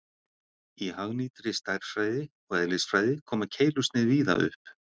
Í hagnýtri stærðfræði og eðlisfræði koma keilusnið víða upp.